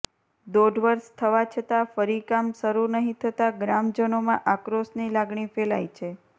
દોઢ વર્ષ થવા છતાં ફરી કામ શરૂ નહીં થતાં ગ્રામજનોમાં આક્રોશની લાગણી ફેલાઇ છે